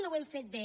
no ho hem fet bé